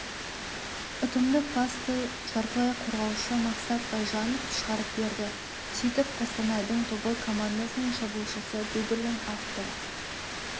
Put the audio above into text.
ұтымды пасты жартылай қорғаушы мақсат байжанов шығарып берді сөйтіп қостанайдың тобыл командасының шабуылшысы дубльдің авторы